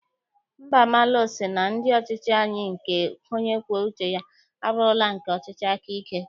Mbamalu sị na ndị ọchịchị anyị nke onye kwuo uche ya, abụrụla nke ọchịchị aka ike.